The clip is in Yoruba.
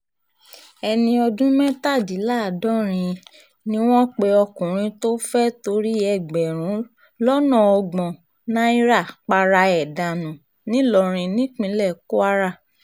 ẹni ọdún mẹ́tàdínláàdọ́rin ni wọ́n pe ọkùnrin tó fẹ́ẹ́ torí ẹgbẹ̀rún lọ́nà ọgbọ̀n náírà para ẹ̀ dànù ńìlọrin nípínlẹ̀ kwara